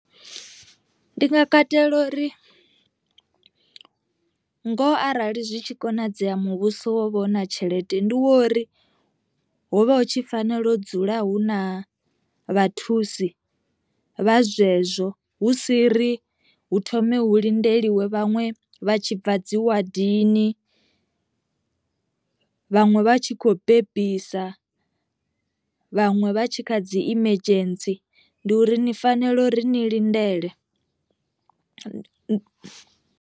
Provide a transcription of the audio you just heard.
Ndi nga katela uri ngoho arali zwi tshi konadzea muvhuso wo vha u na tshelede ndi wa uri hovha hu tshi fanela u dzula hu na vhathusi vha zwezwo, hu si ri hu thome hu lindeliwa vhaṅwe vha tshi bva dzi wadini, vhaṅwe vha tshi khou bebisa, vhaṅwe vha tshi kha dzi emergency ndi uri ni fanela uri ni lindele.